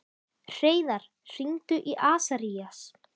Hreiðar, hringdu í Asarías.